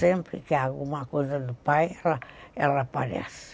Sempre que há alguma coisa do pai, ela ela aparece.